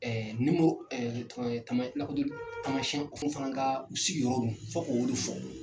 Ɛɛ ɛɛ tamasiyɛn fana ka u sigi yɔrɔ min fɔ ko de fɔ.